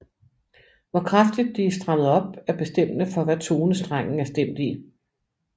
Hvor kraftigt de er stramt op er bestemmende for hvad tone strengen er stemt i